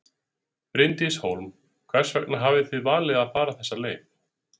Bryndís Hólm: Hvers vegna hafið þið valið að fara þessa leið?